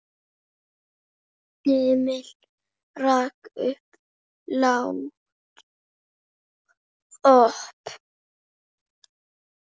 Emil rak upp lágt óp.